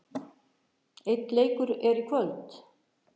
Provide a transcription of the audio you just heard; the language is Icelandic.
Einn leikur er í kvöld.